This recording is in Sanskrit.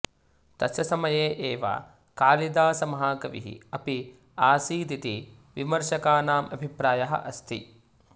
तस्य समये एव कालिदासमहाकविः अपि आसीदिति विमर्शकानाम् अभिप्रायः अस्ति